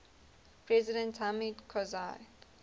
president hamid karzai